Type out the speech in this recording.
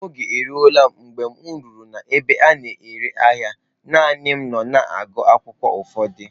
Oge eruola m mgbe m rutere n'ebe a na-ere ahịa, naanị m nọ na-agụ akwụkwọ ụfọdụ